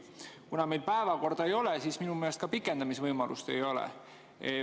Kuna meil päevakorda ei ole, siis minu meelest ka pikendamise võimalust ei ole.